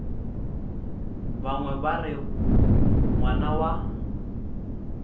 bangwe ba re ngwana wa